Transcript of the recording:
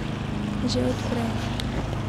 Že od prej.